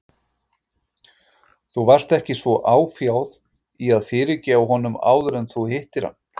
Þú varst ekki svo áfjáð í að fyrirgefa honum áður en þú hittir hann.